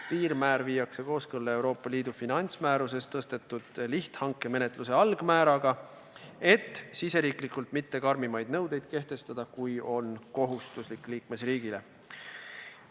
Piirmäär viiakse kooskõlla Euroopa Liidu finantsmääruses tõstetud lihthanke menetluse algmääraga, et riigisiseselt kehtivad nõuded ei oleks karmimad, kui liikmesriigile on kohustuslik.